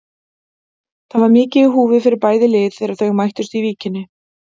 Það var mikið í húfi fyrir bæði lið þegar þau mættust í Víkinni.